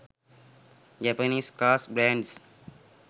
japanese cars brands